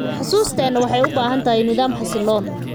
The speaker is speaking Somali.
Xusuusteena waxay u baahan tahay nidaam xasiloon.